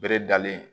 Bere dalen